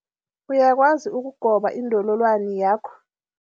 Uyakwazi ukugoba indololwani yakho?